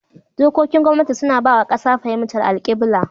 Dokokin gwamnati suna ba wa kasa fahimtar alkibla.